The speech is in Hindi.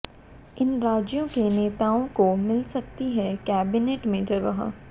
इन राज्यों के नेताओं को मिल सकती है कैबिनेट में जगह